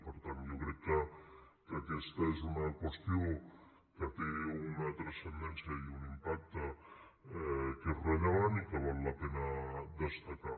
per tant jo crec que aquesta és una qüestió que té una transcendència i un impacte que és rellevant i que val la pena destacar